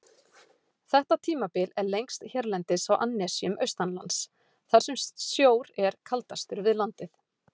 Þetta tímabil er lengst hérlendis á annesjum austanlands, þar sem sjór er kaldastur við landið.